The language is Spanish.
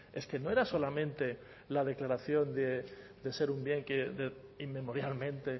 es que no era solamente la declaración de ser un bien que inmemorialmente